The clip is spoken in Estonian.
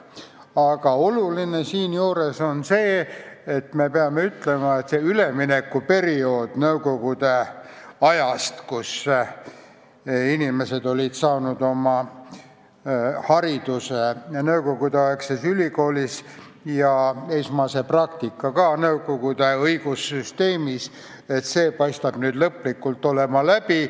Aga oluline on siinjuures see, et see üleminekuperiood nõukogude ajast, kus inimesed olid saanud oma hariduse ja esmase praktika samuti nõukogude õigussüsteemis, paistab olevat nüüd lõplikult läbi.